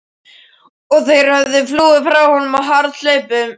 Og þeir höfðu flúið frá honum á harðahlaupum.